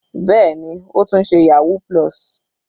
Bẹ́ẹ̀ni, ó tún ṣe yahoo+.